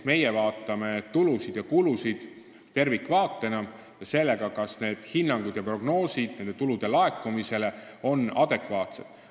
Meie vaatame tulusid ja kulusid selles kontekstis tervikvaatena ja me vaatame seda, kas hinnangud tulude laekumisele ja prognoosid on adekvaatsed.